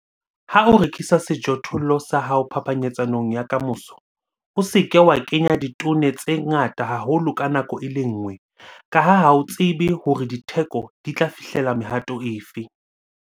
Ha o rekisa sejothollo sa hao phapanyetsanong ya ka moso, o se ke wa kenya ditone tse ngata haholo ka nako e le nngwe ka ha ha o tsebe hore ditheko di tla fihlella mehato efe.